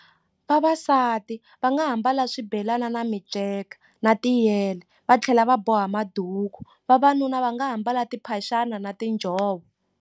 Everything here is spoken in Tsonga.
Vavasati va nga ha mbala swibelani na minceka na tiyele va tlhela va boha maduku vavanuna va nga ha mbala timphaxana na tinjhovo.